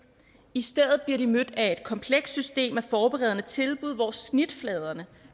i stedet bliver de mødt af et komplekst system af forberedende tilbud hvor snitfladerne